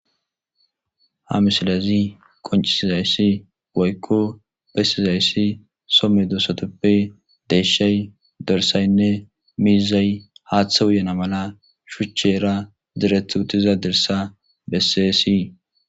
Ha misilezi qonicizasine woyiko besizayis somedosazape deshay dorisaynee mizay hathe uyana mela shuchera direti utida dirisa beses